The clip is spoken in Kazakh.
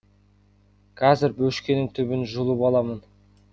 қазір бөшкенің түбін жұлып аламын